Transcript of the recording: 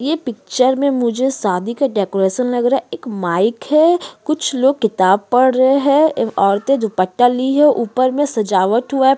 इस पिक्चर में मुझे एक शादी का डेकोरेशन लग रहा है एक माइक है कुछ लोग किताब पढ़ रहें हैं औरतें दुपट्टा ले हुए है ऊपर में सजावट हुए हुआ है।